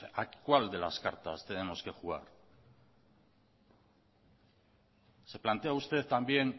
cuál de las cartas tenemos que jugar se plantea usted también